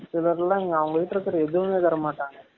இவர்லாம் அவங்ககிட்ட இருக்க எதுவுமே தரமாடாங்க